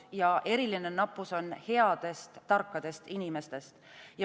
Ja eriline nappus on headest tarkadest inimestest.